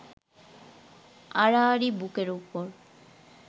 আড়াআড়ি বুকের ওপর